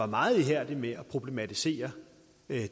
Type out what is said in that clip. meget ihærdig med at problematisere